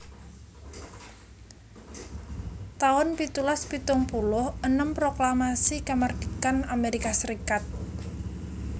taun pitulas pitung puluh enem Proklamasi Kamardikan Amerika Serikat